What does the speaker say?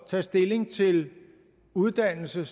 tage stilling til uddannelse